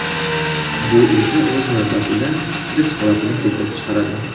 Bu esa o‘z navbatida stress holatini keltirib chiqaradi.